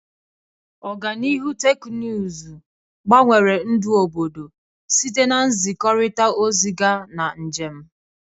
Ọganihu teknụzụ gbanwere ndụ obodo, site na nzikọrịta ozi gaa na njem.